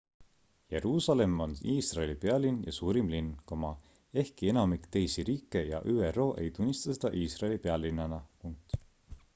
jeruusalemm on iisraeli pealinn ja suurim linn ehkki enamik teisi riike ja üro ei tunnista seda iisraeli pealinnana